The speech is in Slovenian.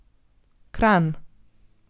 Kranj.